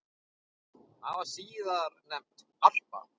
Það var síðar nefnt Harpa.